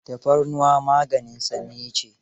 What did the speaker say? Tafarnuwa maganin sanyi ce.